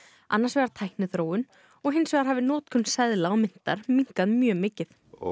annars vegar tækniþróun og hins vegar hafi notkun seðla og myntar minnkað mjög mikið